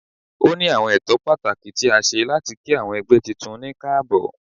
O ni awọn ẹtọ patakí tí a ṣe latí kí awọn ẹgbẹ titun ní kaabo.